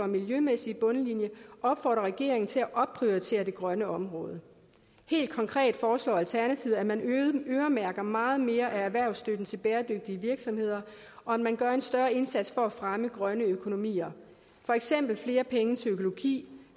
miljømæssige bundlinje opfordre regeringen til at opprioritere det grønne område helt konkret foreslår alternativet at man øremærker meget mere af erhvervsstøtten til bæredygtige virksomheder og at man gør en større indsats for at fremme grønne økonomier for eksempel flere penge til økologi